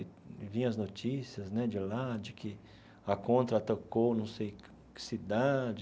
E via as notícias né de lá de que a contra atacou não sei que que cidade.